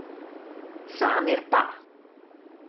Samir pa ...